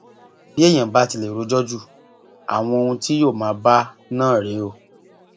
bí èèyàn bá ti lè rojọ ju àwọn ohun tí yóò máa bá a náà rèé o